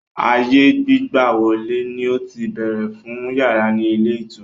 Ààyè gbígbàwọ̀lè ni ó ti béèrè fún yàrá ni ilé ìtura.